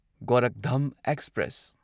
Gorakhdham express